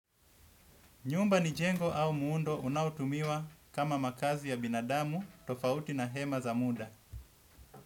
Nyumba ni jengo au muundo unaoutumiwa kama makazi ya binadamu tofauti na hema za muda.